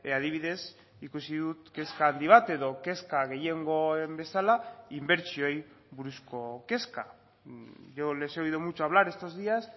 adibidez ikusi dut kezka handi bat edo kezka gehiengoen bezala inbertsioei buruzko kezka yo les he oído mucho hablar estos días